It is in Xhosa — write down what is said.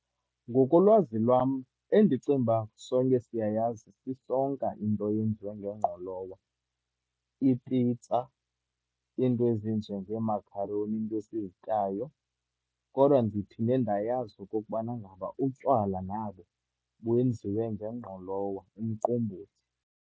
Ngokolwazi lwam, endicinguba sonke siyayazi, sisonka into eyenziwa nengqolowa, i-pizza, iinto ezinjengeemakharoni, iinto esizityayo. Kodwa ndiphinde ndayazi okokubana ngaba utywala nabo benziwe ngengqolowa, umqombothi.